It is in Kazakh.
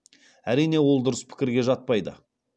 әрине ол дұрыс пікірге жатпайды